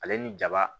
Ale ni jaba